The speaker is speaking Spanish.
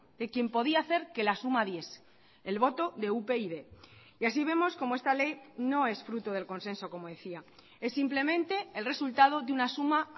de quien podía hacer que la suma diese el voto de upyd y así vemos como esta ley no es fruto del consenso como decía es simplemente el resultado de una suma